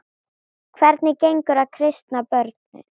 Hvernig gengur að kristna börnin?